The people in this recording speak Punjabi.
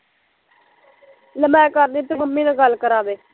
ਲਿਆ ਮੈਂ ਕਰ ਦਿੰਦੀ ਤੂੰ ਮੰਮੀ ਨਾਲ਼ ਗੱਲ ਕਰਾਦੇ